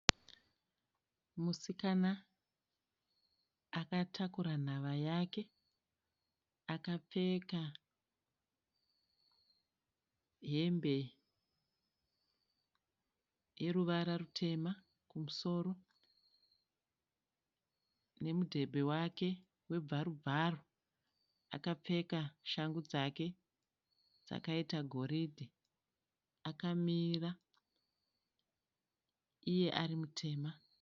Musikana akatakura nhava yake. Akapfeka hembe yeruvara rutema kumusoro nemudhebhe wake webvarubvaru. Akapfeka shangu dzake dzegoridhe. Akamira iye ari mutema.